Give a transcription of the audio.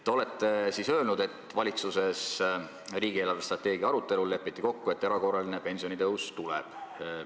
Te olete öelnud, et valitsus leppis riigi eelarvestrateegia arutelul kokku, et erakorraline pensionitõus tuleb.